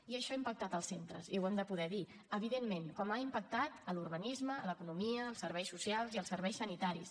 i això ha impactat en els centres i ho hem de poder dir evidentment com ha impactat en l’urbanisme en l’economia en els serveis socials i en els serveis sanitaris